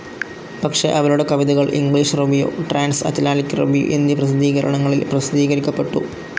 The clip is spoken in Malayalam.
പക്ഷെ അവരുടെ കവിതകൾ English review, transatlantic review എന്നീ പ്രസിദ്ധീകരണങ്ങളിൽ പ്രസിദ്ധീകരിക്കപ്പെട്ടു.